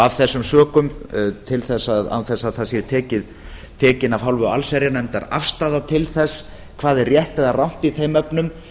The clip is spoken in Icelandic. af þessum sökum án þess að það sé tekin af hálfu allsherjarnefndar afstaða til þess hvað er rétt eða rangt í þeim efnum